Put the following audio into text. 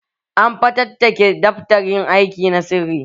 An fatattake daftarin aiki na sirri